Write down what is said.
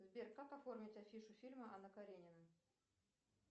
сбер как оформить афишу фильма анна каренина